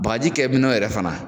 Bagaji kɛ minɛn yɛrɛ fana